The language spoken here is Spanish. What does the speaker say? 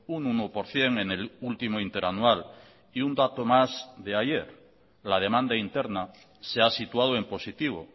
un uno por ciento en el último interanual y un dato más de ayer la demanda interna se ha situado en positivo